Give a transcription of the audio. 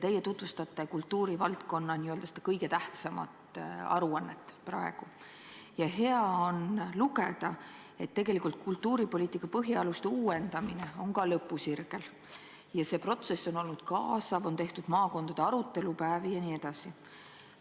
Te tutvustate praegu kultuurivaldkonna kõige tähtsamat aruannet ja hea on lugeda, et kultuuripoliitika põhialuste uuendamine on lõpusirgel ja et see protsess on olnud kaasav, on tehtud maakondade arutelupäevi jne.